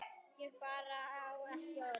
Ég bara á ekki orð.